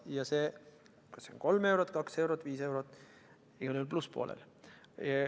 Ja kas see on kolm eurot, kaks eurot, viis eurot – igal juhul plusspoolel.